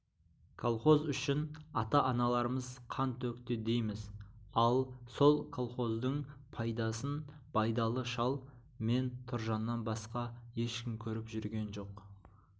колхоз үшін ата-аналарымыз қан төкті дейміз ал сол колхоздың пайдасын байдалы шал мен тұржаннан басқа ешкім көріп жүрген жоқ